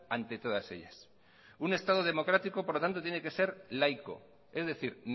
ante todas ellas un estado democrático por lo tanto tiene que ser laico es decir